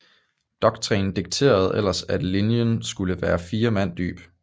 Doktrinen dikterede ellers at linjen skulle være fire mand dyb